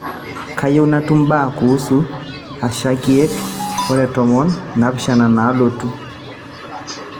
kayieu natum mbaa kuusu asha nkiek are o tomon o naapishana nalotu